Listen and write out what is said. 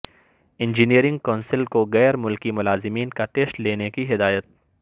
engineering council کوغیر ملکی ملازمین کا ٹیسٹ لینے کی ہدایت